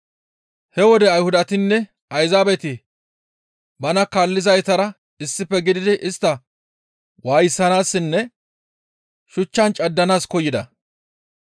He wode Ayhudatinne Ayzaabeti bana kaaleththizaytara issife gididi istta waayisanaassinne shuchchan caddanaas koyida.